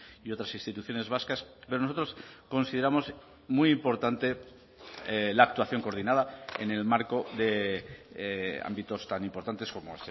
y otras instituciones vascas pero nosotros consideramos muy importante la actuación coordinada en el marco de ámbitos tan importantes como